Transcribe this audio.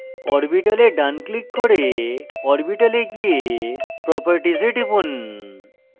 orbital ডান click করে orbital এ গিয়ে properties এ টিপুন